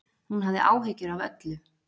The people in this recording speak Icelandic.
Hún hafði áhyggjur af öllu.